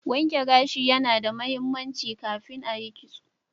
Wankin gashi ya na da mahimmanci ka kin a Yi kitso